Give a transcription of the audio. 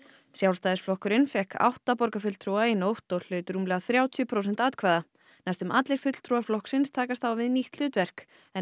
Sjálfstæðisflokkurinn fékk átta borgarfulltrúa í nótt og hlaut rúmlega þrjátíu prósent atkvæða næstum allir fulltrúar flokksins takast á við nýtt hlutverk en